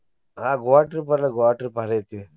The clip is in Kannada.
ಆಹ್ Goa trip ಅಲ್ಲಾ Goa trip ಭಾರಿ ಐತಿ.